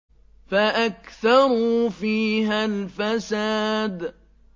فَأَكْثَرُوا فِيهَا الْفَسَادَ